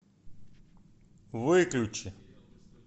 выключи